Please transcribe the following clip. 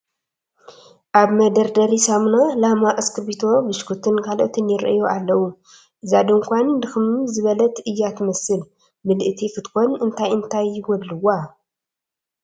ኣብ መደርደሪ ሳሙና፣ ላማ፣ እስክርቢቶ፣ ብሽኩትን ካልኦትን ይርአዩ ኣለዉ፡፡ እዛ ድንኳን ድኽም ዝበለት እያ ትመስል፡፡ ምልእቲ ክትኮን እንታይ እንታይ ይጐድልዋ?